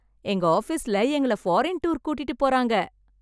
எங்க ஆஃபீஸ்ல எங்கள ஃபாரின் டூர் கூட்டிட்டு போறாங்க